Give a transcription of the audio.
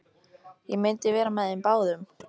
Ég myndi vera með þeim báðum!